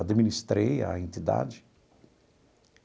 administrei a entidade.